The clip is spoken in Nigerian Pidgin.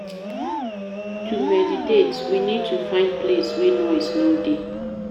To meditate, we need to find place wey noise no dey